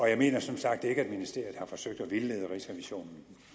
jeg mener som sagt ikke at ministeriet har forsøgt at vildlede rigsrevisionen